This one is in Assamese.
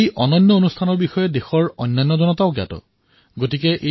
এই অতুলনীয় কাৰ্যসূচীৰ বিষয়ে দেশৰ অন্য জনতাও অৱগত হওক